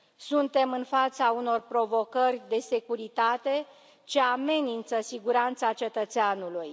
Suntem în fața unor provocări de securitate ce amenință siguranța cetățeanului.